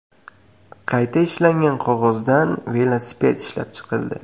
Qayta ishlangan qog‘ozdan velosiped ishlab chiqildi .